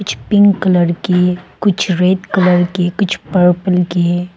कुछ pink colour की कुछ रेड कलर की कुछ पर्पल की